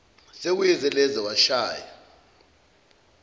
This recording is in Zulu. sekuyize leze washaya